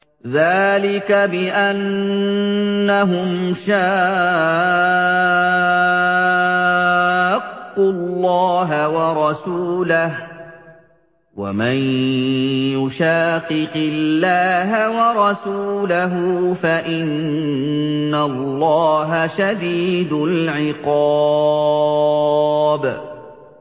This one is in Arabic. ذَٰلِكَ بِأَنَّهُمْ شَاقُّوا اللَّهَ وَرَسُولَهُ ۚ وَمَن يُشَاقِقِ اللَّهَ وَرَسُولَهُ فَإِنَّ اللَّهَ شَدِيدُ الْعِقَابِ